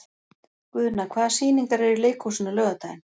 Guðna, hvaða sýningar eru í leikhúsinu á laugardaginn?